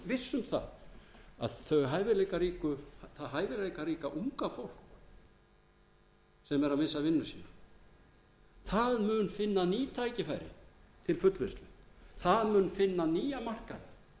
alveg viss um að það hæfileikaríka unga fólk sem er að missa vinnu sína mun finna ný tækifæri til fullnustu það mun finna nýja markaði